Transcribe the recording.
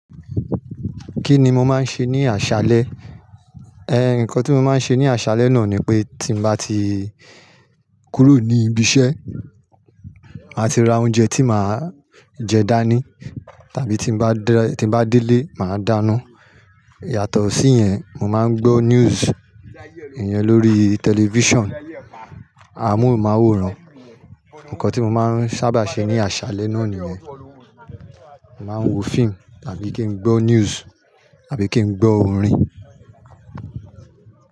Kí ni mo máa ń ṣe ní àṣálẹ́? Ǹkan tí mo máa ń ṣe ní àṣálẹ́ náà ni pé tí mbá ti kúrò ní ibiṣẹ́, màá ti ra oúnjẹ tí màá jẹ dání. Tàbí tí nbá ti dé ilé, màá dáná. Yàtọ̀ sí iyẹn, mo máa ń gbọ́ news, ìyẹn lórí television. Amohunmaworan ǹkan tí mo sábà máa ń ṣe ní àṣálẹ́ náà nìyẹn. Màá ń wo fíìmù tàbí kí n gbọ́ news tàbí kí n gbọ́ orin.